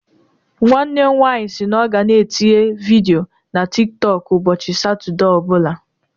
Nwanne m nwanyị si na ọ ga-na etinye vidio na tik tọk ụbọchị Satọde ọ bụla